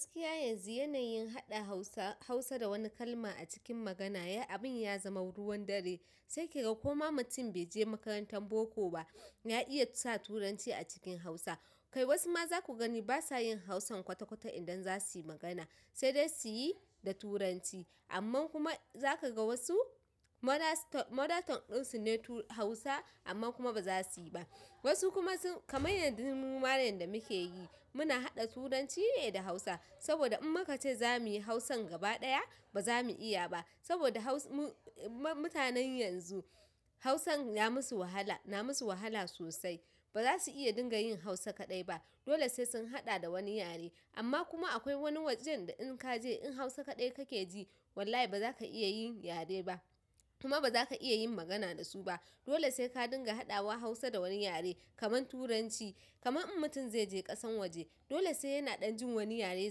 Gaskiya yanzu yanayin haɗa Hausa, hausa da wani kalma a cikin magana ya abin ya zama ruwan dare. Sai ki ga koma mutum bai je makarantar boko ba, ya iya sa Turanci a cikin Hausa. Kai wasu ma zaku gani basa yin Hausan kwata-kwata idan za suy magana, sai dai suyi da Turanci. Amman kuma za ka ga wasu, mothers, mother tongue ɗinsu ne tu Hausa amma kuma ba za su yi ba. Wasu kuma sun. Kaman yanda muma yan da muke yi, muna haɗa Turanci ne da Hausa. Saboda in muka ce za mu yi Hausan gaba ɗaya, ba za mu iya ba. Saboda Haus. Mu i mutanen yanzu Hausan ya musu wahala, na musu wahala sosai. Ba za su iya dinga yin Hausa kaɗai ba. Dole sai sun haɗa da wani yare. Amma kuma akwai wani wajen da in ka je in Hausa kaɗai ka ke ji, wallahi ba za ka iya yin yare ba. Kuma ba za ka iya yin magana da su ba. Dole sai ka dinga haɗawa Hausa da wani yare, kamar Turanci. Kaman in mutum zai je ƙasan waje, dole sai yana ɗan jin wani yare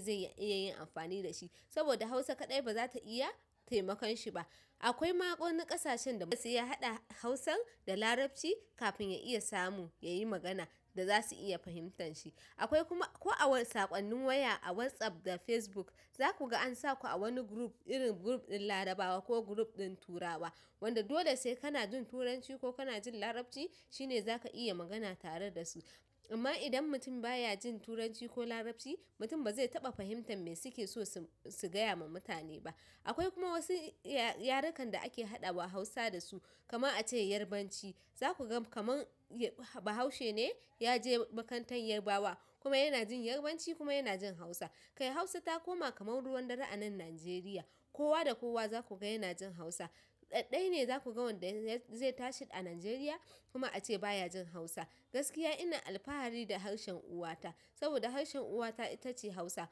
zai iya yin amfani da shi. Saboda Hausa kaɗai ba za ta iya taimakon shi ba. Akwai ma wani ƙasashen da basu iya haɗa hausan da larabci kafin ya iya samu yayi magana da zasu iya fahimtan shi akwai kuma ko a wa. Saƙonnin waya a WhatsApp da Facebook, za ku ga an sa ku a wani group, irin group ɗin Larabawa ko group ɗin turawa. Wanda dole sai kana jin Turanci ko kana jin Larabci, shine za ka iya magana tare da su. Amma idan mutum baya jin Turanci ko Larabci, mutum ba zai taɓa fahimtar me suke so su, su gaya ma mutane ba. Akwai kuma wasu ya. Yarekan da ake haɗawa Hausa da su, kamar a ce Yarbanci. Za ku ga kaman bahaushe ne ya je makarantar Yarbawa kuma yana jin Yarbanci kuma yana jin Hausa. Kai Hausa ta koma kamar ruwan dare a nan Najeriya. Kowa da kowa za ku ga yana jin Hausa. Ɗai-ɗai ne za ku ga wanda zai tashi a Najeriya kuma a ce baya jin Hausa. Gaskiya ina alfahari da harshen uwa ta. Saboda harshen uwa ta, ita ce Hausa.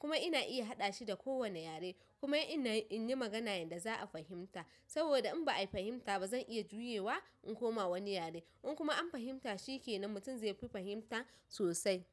Kuma ina iya haɗa shi da kowane yare. Kuma ina, in yi magana yanda za a fahimta. Saboda in ba a fahimta ba, zan iya juyewa in koma wani yare. In kuma an fahimta shi ke nan mutum zai fi fahimta sosai.